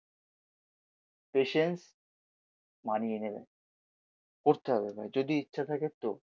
patience money এনে দেয়, করতে হবে ভাই যদি ইচ্ছা থাকে তো